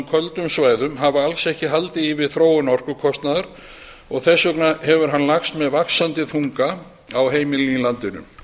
köldum svæðum hafa alls ekki haldið í við þróun orkukostnaðar og þess vegna hefur hann lagst með vaxandi þunga á heimilin í landinu